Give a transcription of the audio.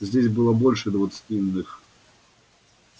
здесь было больше двадцати иных